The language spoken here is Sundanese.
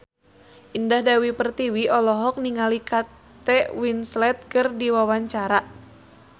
Indah Dewi Pertiwi olohok ningali Kate Winslet keur diwawancara